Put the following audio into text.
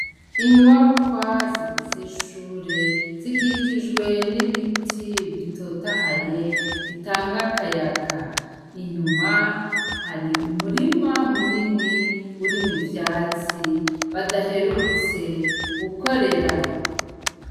Inyubakwa zigize ishure zikikijwe n'ibiti bitotahaye bitanga akayaga. Inyuma hari umurima muni urimwo ivyatsi badaherutse gukorera.